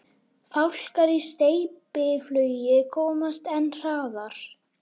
Fálkar í steypiflugi komast enn hraðar.